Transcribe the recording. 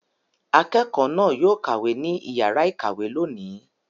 Akẹ́kọ̀ọ́ náà yóò kàwé ní ìyàrá-ìkàwé lónìí.